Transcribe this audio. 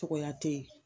Cogoya tɛ ye